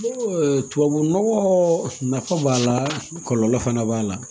Tubabu nɔgɔ nafa b'a la kɔlɔlɔ fana b'a la